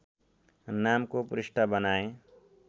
नामको पृष्ठ बनाएँ